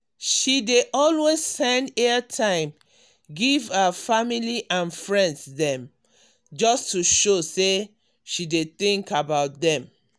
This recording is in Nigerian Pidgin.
she dey always send airtime give her family and friends dem just to show say she dey think about dem.